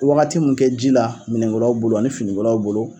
Wagati min kɛ ji la minɛn kolaw bolo ani fini kolaw bolo.